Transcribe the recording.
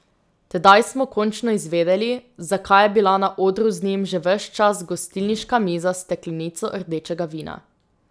Tedaj smo končno izvedeli, zakaj je bila na odru z njim že ves čas gostilniška miza s steklenico rdečega vina.